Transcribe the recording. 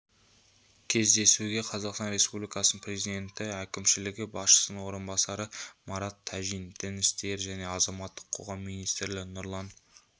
кездесуге қазақстан республикасының президенті әкімшілігі басшысының орынбасары марат тәжин дін істері және азаматтық қоғам министрі нұрлан